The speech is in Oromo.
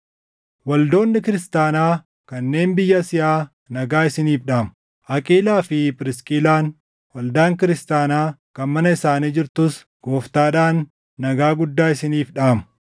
Waldoonni kiristaanaa kanneen biyya Asiyaa nagaa isiniif dhaamu. Aqiilaa fi Phirisqillaan, waldaan kiristaanaa kan mana isaanii jirtus Gooftaadhaan nagaa guddaa isiniif dhaamu.